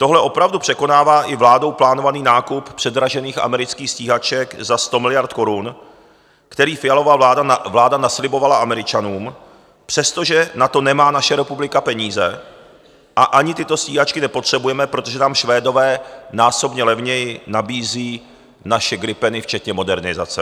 Tohle opravdu překonává i vládou plánovaný nákup předražených amerických stíhaček za 100 miliard korun, který Fialova vláda naslibovala Američanům, přestože na to nemá naše republika peníze a ani tyto stíhačky nepotřebujeme, protože nám Švédové násobně levněji nabízí naše gripeny včetně modernizace.